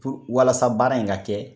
Fo walasa baara in ka kɛ